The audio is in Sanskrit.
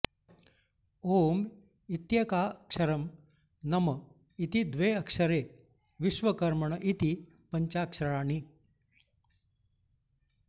ॐ इत्येकाक्षरं नम इति द्वे अक्षरे विश्वकर्मण इति पञ्चाक्षराणि